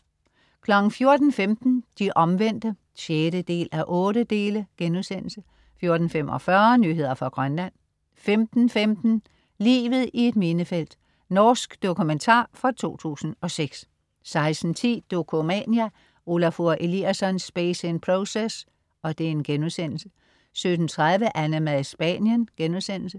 14.15 De Omvendte 6:8* 14.45 Nyheder fra Grønland 15.15 Livet i et minefelt. Norsk dokumentar fra 2006 16.10 Dokumania: Olafur Eliasson: Space is Process* 17.30 AnneMad i Spanien*